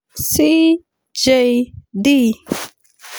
(CJD)